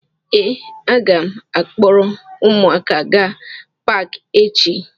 Ee, a ga m akpọrọ ụmụaka gaa Paakị echi